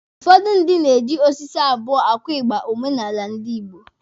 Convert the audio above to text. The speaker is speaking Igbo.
Ụfọdụ ndị na-eji osisi abụọ akụ ịgba omenala ndi Igbo.